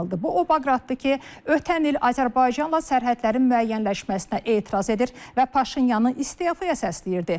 Bu o Baqratdır ki, ötən il Azərbaycanla sərhədlərin müəyyənləşməsinə etiraz edir və Paşinyanı istefaya səsləyirdi.